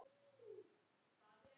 Hann leit til baka.